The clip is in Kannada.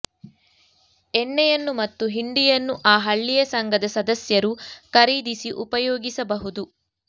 ಎಣ್ಣೆಯನ್ನು ಮತ್ತು ಹಿಂಡಿಯನ್ನು ಆ ಹಳ್ಳಿಯ ಸಂಘದ ಸದಸ್ಯರು ಖರೀದಿಸಿ ಉಪಯೋಗಿಸಬಹುದು